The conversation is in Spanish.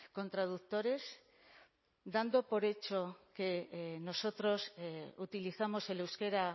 con traductores dando por hecho que nosotros utilizamos el euskera